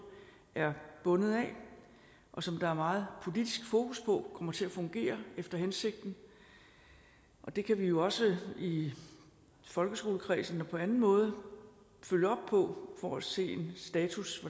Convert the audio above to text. er bundet af og som der er meget politisk fokus på kommer til at fungere efter hensigten det kan vi jo også i folkeskoleforligskredsen og på anden måde følge op på for at se en status